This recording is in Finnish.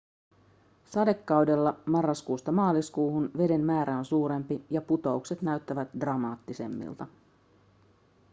sadekaudella marraskuusta maaliskuuhun veden määrä on suurempi ja putoukset näyttävät dramaattisemmilta